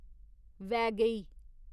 Vaigai